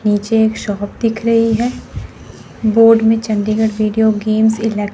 नीचे एक शॉप दिख रहीं हैं बोर्ड में चंदीगढ़ व्हिडियो गेम्स इले--